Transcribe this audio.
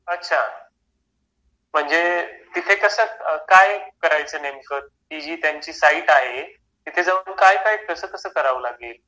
अच्छा म्हणजे तिथे कस काय करायचं नेमकं त्यांची साइड आहे तिथे जाऊन काय काय कसा कसा करावे लागेल